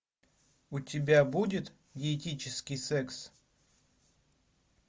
у тебя будет диетический секс